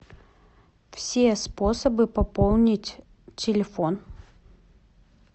все способы пополнить телефон